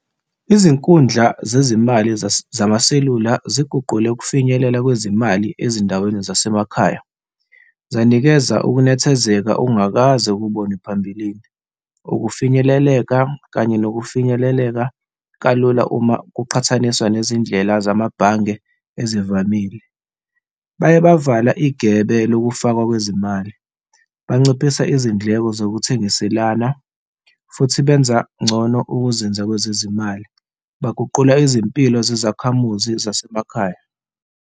Izinkundla zezimali zamaselula ziguquke ukufinyelela kwezimali ezindaweni zasemakhaya, zanikeza ukunethezeka ongakaze ukubone phambilini, ukufinyeleleka kanye nokufinyeleleka kalula uma kuqhathaniswa nezindlela namabhange ezivamile. Baye bavala igebe lokufakwa kwezimali, banciphisa izindleko zokuthengiselana futhi benza ngcono ukuzebenza kwezezimali, beguqula izimpilo sezakhamuzi zasemakhaya.